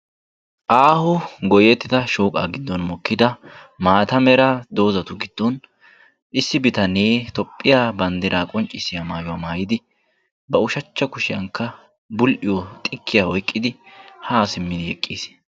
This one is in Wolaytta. Aaho goyyettida shooqaa giddon mokkida maata mera dozatu giddon issi bitanee tophphiya banddiraa qonccissiya mayuwa mayidi ba ushachcha kushiyankka xikkiya oyiqqidi haa simmidi eqqis.